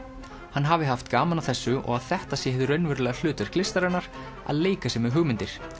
hann hafi haft gaman að þessu og að þetta sé hið raunverulega hlutverk listarinnar að leika sér með hugmyndir